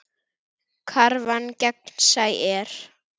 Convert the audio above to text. Krafan gegnsæ er.